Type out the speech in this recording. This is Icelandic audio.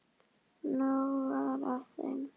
Nóg var af þeim.